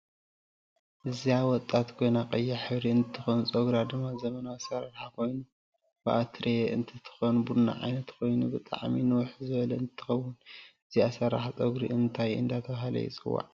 እዚ ወጣት ኮይና ቀያ ሕብሪ እንትትኮን ፀግራ ድማ ዘመናዊ ኣሰራርሓ ኮይኑ ብኣሪትየ እንትትኮን ቡና ዓይነት ኮይኑ ብጣዓሚ ንውሕ ዝበለ እንትከውን እዚ ኣሰራራሓ ፅጉሪ እንታይ እዳተበሃለይፅዋዕ?